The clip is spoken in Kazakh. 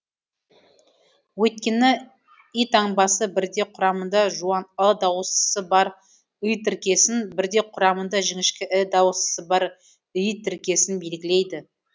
өйткені и таңбасы бірде құрамында жуан ы дауыстысы бар ый тіркесін бірде құрамында жіңішке і дауыстысы бар ій тіркесін белгілейді